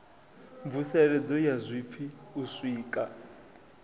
mvuseledzo ya zwipfi u sika